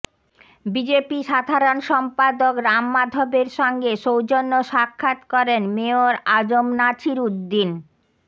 BJP সাধারণ সম্পাদক রাম মাধবের সঙ্গে সৌজন্য সাক্ষাৎ করেন মেয়র আ জ ম নাছির উদ্দীন